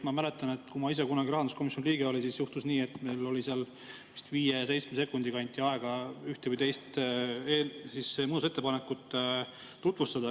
Ma mäletan, et kui ma ise kunagi rahanduskomisjoni liige olin, siis juhtus nii, et meile seal vist viieteistkümne sekundi kaupa anti aega üht või teist muudatusettepanekut tutvustada.